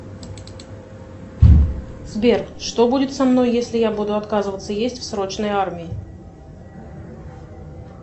сбер что будет со мной если я буду отказываться есть в срочной армии